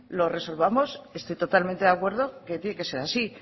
lo resolvamos estoy totalmente de acuerdo que tiene que ser así